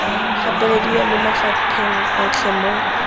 gapelediwa mo mafapheng otlhe mo